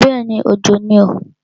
Bẹ́ẹ̀ni, Òjò ni o.